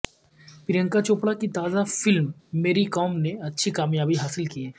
پرینکا چوپڑہ کی تازہ فلم میری کام نے اچھی کامیابی حاصل کی ہے